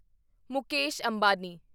Mukesh Ambani